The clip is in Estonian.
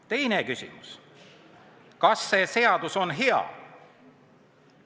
Teine küsimus: kas see seadus on hea?